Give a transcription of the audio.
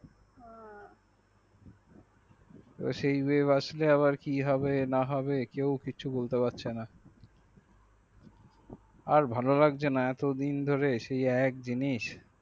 সেই বেব আসলে আবার কি হবে না হবে কেউ কিছু বলতে পারছে না আর ভালো লাগছে না এতদিন ধরে সেই একই জিনিস